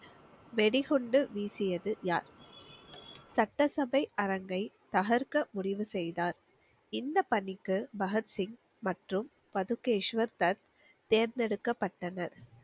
வெடிகுண்டு வீசியது யார்? சட்டசபை அரங்கை தகர்க்க முடிவு செய்தார் இந்த பணிக்கு பகத் சிங் மற்றும் பதுகேஷ்வர் தத் தேர்ந்தெடுக்கப்பட்டனர்